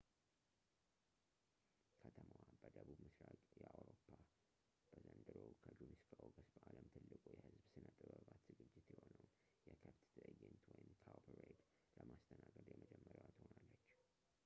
ከተማዋ በደቡብ ምሥራቅ አውሮፓ በዘንድሮ ከጁን እስከ ኦገስት በዓለም ትልቁ የሕዝብ ሥነ-ጥበባት ዝግጅት የሆነውን፣ የከብት ትዕይንት cowparade፣ ለማስተናገድ የመጀመሪያዋ ትሆናለች